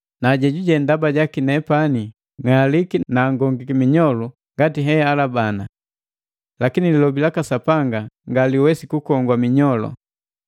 na jejuje ndaba jaki nepani ng'aliki na angongiki minyolu ngati nehalabana. Lakini lilobi laka Sapanga ngaseliwesi kukogwa minyolu.